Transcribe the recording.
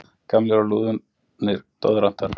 Gamlir og lúnir doðrantar.